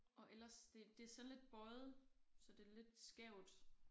Og ellers det det så lidt bøjet så det lidt skævt